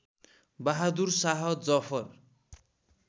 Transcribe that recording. Bahadur Shah Zafar